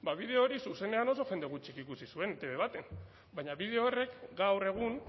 bideo hori zuzenean oso jende gutxik ikusi zuen etb batean baina bideo horrek gaur egun